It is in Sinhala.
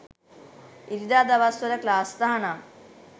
ඉරිදා දවස් වල ක්ලාස් තහනම්